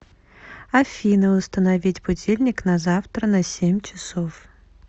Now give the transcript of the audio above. афина установить будильник на завтра на семь часов